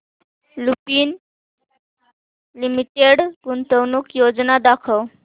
Lupin limited गुंतवणूक योजना दाखव